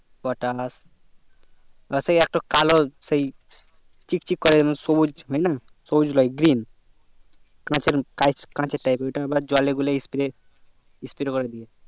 পটাস আর সে একটু কালো সেই চিক চিক করে সবুজ হয়না সবুজ লই green কাচের কাচের type এর ওই তা আবার জলে গুলে sprayspray করে দিয়ে